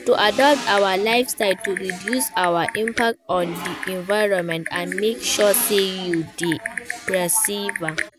Na to adapt our lifestye to reduce our impact on di environment and make sure say we dey preserve am.